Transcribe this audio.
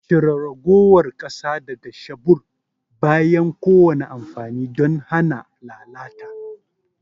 Cire ragowar ƙasa daga shebur bayan kowane amfani don hana lalata.